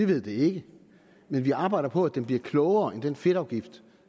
ved det ikke men vi arbejder på at den bliver klogere indrettet end den fedtafgift